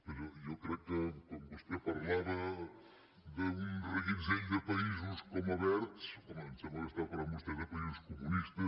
però jo crec que quan vostè parlava d’un reguitzell de països com a verds home em sembla que parlava vostè de països comunistes